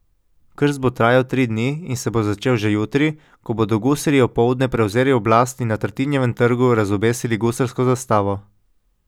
Krst bo trajal tri dni in se bo začel že jutri, ko bodo gusarji opoldne prevzeli oblast in na Tartinijevem trgu razobesili gusarsko zastavo.